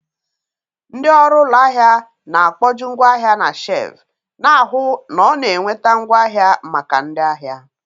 Ndị ọrụ ụlọ ahịa na-akpojuu ngwaahia na shelvu, na-ahụ na ọ na-enweta ngwaahịa maka ndị ahịa.